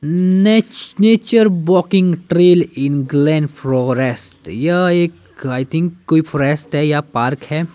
नेच nature walking trail England forest यह एक आई थिंक कोई फॉरेस्ट है या पार्क है।